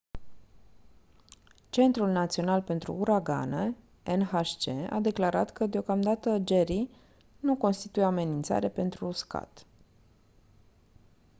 centrul național pentru uragane nhc a declarat că deocamdată jerry nu constituie o amenințare pentru uscat